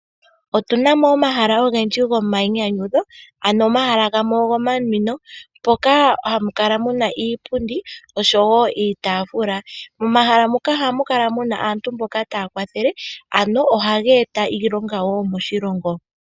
Otuna mo omahala ogendji gomainyanyudho, ano omahala gamwe ogo ma nwino mpoka hamu kala muna iipundi oshowo iitaafula. Momahala muka ohamu kala muna aantu taya kwathela, ano ohaga eta iilonga wo moshilongo.